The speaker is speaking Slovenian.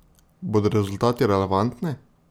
Bodo rezultati relevantni?